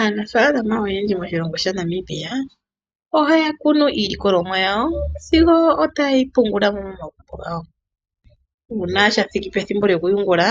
Aanafaalama oyendji moshilongo shaNamibia ohaya kunu iilikolomwa yawo sigo tayeyi pungula momagumbo gawo, uuna shathiki pethimbo lyokuyungula